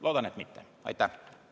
Loodan, et mitte.